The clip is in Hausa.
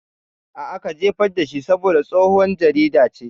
A'a, ka jefar dashi saboda tsohon jarida ce